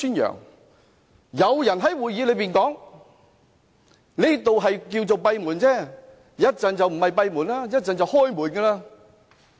那時有人在會議上說，現時叫作閉門，稍後就不是閉門，稍後就開門了。